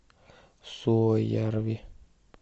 суоярви